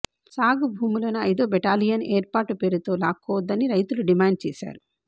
సాగు భూములను ఐదో బెటాలియన్ ఏర్పాటు పేరుతో లాక్కోవద్దని రైతులు డిమాండ్ చేశారు